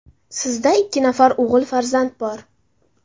Sizda ikki nafar o‘g‘il farzand bor.